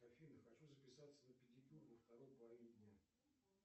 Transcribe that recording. афина хочу записаться на педикюр во второй половине дня